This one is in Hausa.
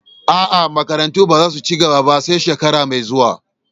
Aa, makarantu ba za su ci gaba ba sai shekara mai zuwa.